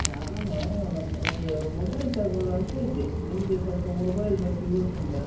ನಾನು, ಅಹ್ ಒಂದು mobile ತಗೋಳ್ವಾ ಅಂತ ಇದ್ದೆ, ನಿಂಗೆ ಸ್ವಲ್ಪ mobile ಬಗ್ಗೆ ಗೊತ್ತುಂಟಲ್ಲ.